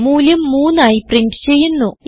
മൂല്യം 3 ആയി പ്രിന്റ് ചെയ്യുന്നു